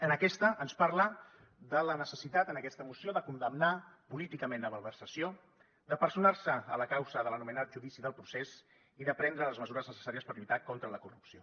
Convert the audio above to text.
en aquesta ens parla de la necessitat en aquesta moció de condemnar políticament la malversació de personar se a la causa de l’anomenat judici del procés i de prendre les mesures necessàries per lluitar contra la corrupció